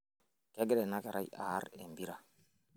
kegira ina kerai aarr empira